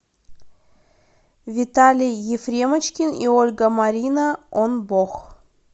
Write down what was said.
виталий ефремочкин и ольга марина он бог